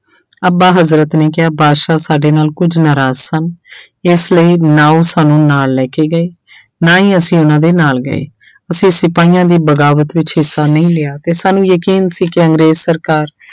ਅੱਬਾ ਹਜ਼ਰਤ ਨੇ ਕਿਹਾ ਬਾਦਸ਼ਾਹ ਸਾਡੇ ਨਾਲ ਕੁੱਝ ਨਾਰਾਜ਼ ਸਨ ਇਸ ਲਈ ਨਾ ਉਹ ਸਾਨੂੰ ਨਾਲ ਲੈ ਕੇ ਗਏ ਨਾ ਹੀ ਅਸੀਂ ਉਹਨਾਂ ਦੇ ਨਾਲ ਗਏ ਅਸੀਂ ਸਿਪਾਹੀਆਂ ਦੀ ਬਗਾਵਤ ਵਿੱਚ ਹਿੱਸਾ ਨਹੀਂ ਲਿਆ ਤੇ ਸਾਨੂੰ ਯਕੀਨ ਸੀ ਕਿ ਅੰਗਰੇਜ਼ ਸਰਕਾਰ